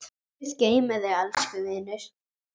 Guð geymi þig, elsku vinur.